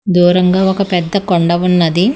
దూరంగా ఒక పెద్ద కొండ ఉన్నది.